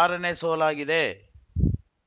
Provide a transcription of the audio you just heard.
ಆರನೇ ಸೋಲಾಗಿದೆ